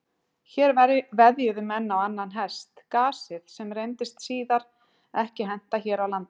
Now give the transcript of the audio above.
Hér veðjuðu menn á annan hest, gasið, sem reyndist síðar ekki henta hér á landi.